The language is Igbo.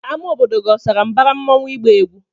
Ama obodo gi osara mbara mmụọnwu igba egwụ?